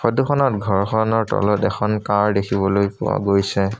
ফটোখনত ঘৰখনৰ তলত এখন কাৰ দেখিবলৈ পোৱা গৈছে।